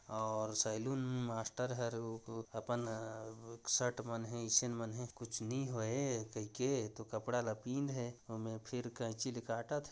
और saloon master हर अपन शर्ट मान है ईसें मान है कुछ नई होए कईके तो कपड़ा ल तोपईन हे मे फिर काईची ल काटथे।